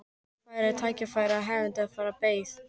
Hún notfærði sér tækifærið, hefndi þess sem beið.